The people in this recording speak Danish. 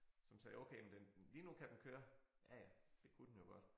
Som sagde okay men den lige nu kan den køre ja ja det kunne den jo godt